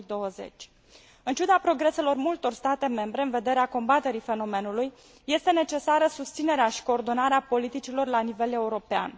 2020. În ciuda progreselor multor state membre în vederea combaterii fenomenului, este necesară susținerea și coordonarea politicilor la nivel european.